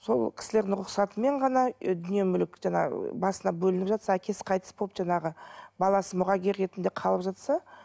сол кісілердің рұқсатымен ғана ы дүние мүлік жаңа басында бөлініп жатса әкесі қайтыс болып жаңағы баласы мұрагер ретінде қалып жатса